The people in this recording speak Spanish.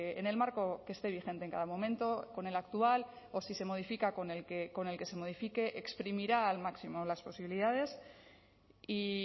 en el marco que esté vigente en cada momento con el actual o si se modifica con el que se modifique exprimirá al máximo las posibilidades y